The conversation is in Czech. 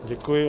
Děkuji.